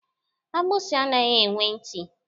Agbusi anaghị enwe ntị